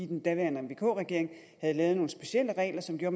den daværende vk regering havde lavet nogle specielle regler som gjorde